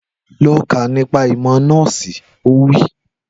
Lọ kọ́ nípa ìmọ̀ nọ́ọ̀sì! Ó wí